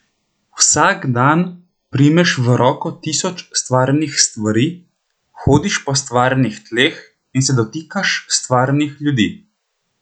Vsak dan primeš v roko tisoč stvarnih stvari, hodiš po stvarnih tleh in se dotikaš stvarnih ljudi.